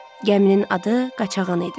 Gəminin adı Qaçağan idi.